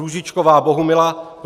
Růžičková Bohumila